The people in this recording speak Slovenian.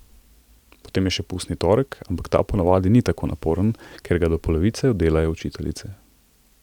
Potem je še pustni torek, ampak ta ponavadi ni tako naporen, ker ga do polovice oddelajo učiteljice.